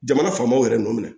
Jamana faamaw yɛrɛ n'u minɛ